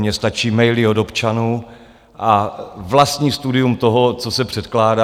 Mně stačí maily od občanů a vlastní studium toho, co se předkládá.